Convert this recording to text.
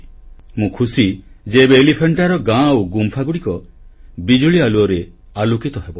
ମୁଁ ଖୁସି ଯେ ଏବେ ଏଲିଫାଣ୍ଟାର ଗାଁ ଆଉ ଗୁମ୍ଫାଗୁଡିକ ବିଜୁଳି ଆଲୁଅରେ ଆଲୋକିତ ହେବ